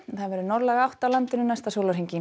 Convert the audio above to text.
það verður norðlæg átt á landinu næsta sólarhringinn